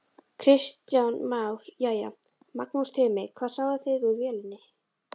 Kristján Már: Jæja Magnús Tumi, hvað sáuð þið úr vélinni?